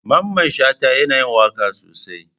Mamman Shata yana yin waka sosai.